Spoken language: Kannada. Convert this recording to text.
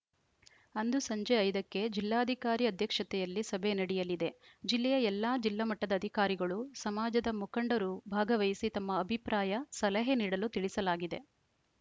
ಅಂದು ಸಂಜೆ ಐದ ಕ್ಕೆ ಜಿಲ್ಲಾಧಿಕಾರಿ ಅಧ್ಯಕ್ಷತೆಯಲ್ಲಿ ಸಭೆ ನಡೆಯಲಿದೆ ಜಿಲ್ಲೆಯ ಎಲ್ಲಾ ಜಿಲ್ಲಾ ಮಟ್ಟದ ಅಧಿಕಾರಿಗಳು ಸಮಾಜದ ಮುಖಂಡರು ಭಾಗವಹಿಸಿ ತಮ್ಮ ಅಭಿಪ್ರಾಯ ಸಲಹೆ ನೀಡಲು ತಿಳಿಸಲಾಗಿದೆ